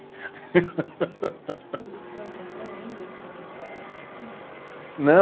O senhor compõe ainda o samba poético? Não